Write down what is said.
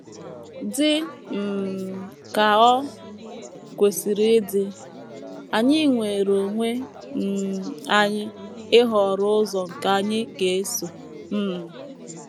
Dị um ka o kwesịrị ịdị, anyị nweere onwe um anyị ịhọrọ ụzọ nke anyị ga - eso. um